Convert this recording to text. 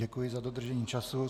Děkuji za dodržení času.